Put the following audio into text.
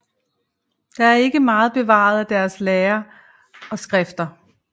Der er ikke meget bevaret af deres lære og skrifter